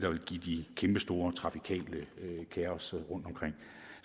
vil give det kæmpestore trafikale kaos rundt omkring